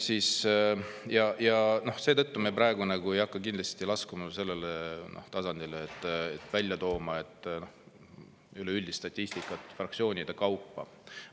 Ja seetõttu me praegu ei hakka kindlasti laskuma sellele tasandile, et välja tuua üleüldist statistikat fraktsioonide kaupa.